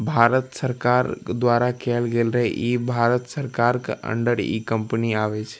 भारत सरकार द्वारा केयल गेल रहे इ भारत सरकार क अंडर इ कंपनी आवे छे।